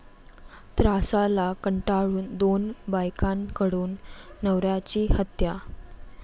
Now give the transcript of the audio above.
त्रासाला कंटाळून दोन बायकांकडून नवऱ्याची हत्या